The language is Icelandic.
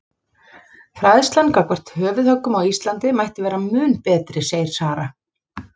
Fræðslan gagnvart höfuðhöggum á Íslandi mætti vera mun betri segir Sara.